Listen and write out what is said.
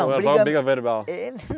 Ou era só briga verbal? Eh